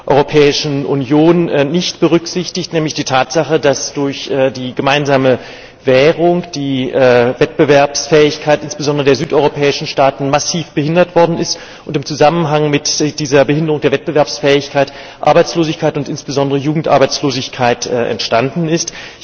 Europäischen Union nicht berücksichtigt, nämlich die Tatsache, dass durch die gemeinsame Währung die Wettbewerbsfähigkeit insbesondere der südeuropäischen Staaten massiv behindert worden ist und im Zusammenhang mit dieser Behinderung der Wettbewerbsfähigkeit Arbeitslosigkeit und insbesondere Jugendarbeitslosigkeit entstanden ist.